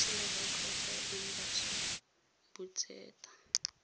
ya selegae kgotsa embasi botseta